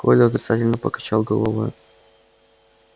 коля отрицательно покачал головой